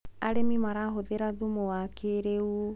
arĩmi marahũthira thumu wa kĩiriu